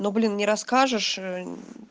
ну блин не расскажешь ээ